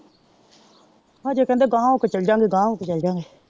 ਹਜੇ ਕਹਿੰਦੇ ਗਾਹਾਂ ਹੋ ਕੇ ਚੱਲੇਜਾਂਗੇ ਗਾਹਾਂ ਹੋ ਕੇ ਚੱਲੇਜਾਂਗੇ।